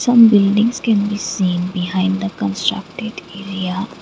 some buildings can be seen behind the constructed area.